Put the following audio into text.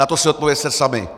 Na to si odpovězte sami.